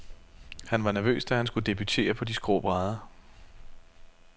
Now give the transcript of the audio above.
Han var nervøs, da han skulle debutere på de skrå brædder.